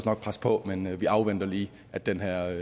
nok presse på men vi afventer lige at den her